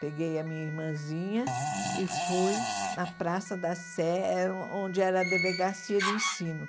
Peguei a minha irmãzinha e fui na Praça da Sé, onde era a delegacia de ensino.